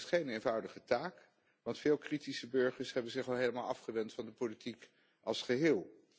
Maar dat is geen eenvoudige taak, want veel kritische burgers hebben zich al helemaal afgewend van de politiek als geheel.